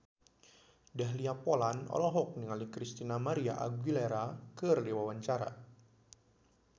Dahlia Poland olohok ningali Christina María Aguilera keur diwawancara